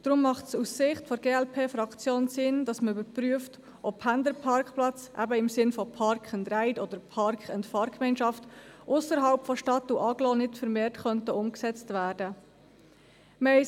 Deshalb macht es aus Sicht der glp-Fraktion Sinn, zu überprüfen, ob Pendlerparkplätze, eben im Sinne von Park-and-ride, oder Parkand-Fahrgemeinschaft vermehrt ausserhalb der Stadt und Agglomeration umgesetzt werden könnten.